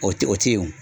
O tɛ o tɛ ye o